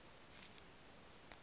kool moe dee